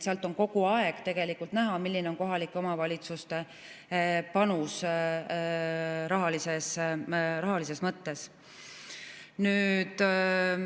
Sealt on kogu aeg tegelikult näha, milline on kohalike omavalitsuste panus rahalises mõttes.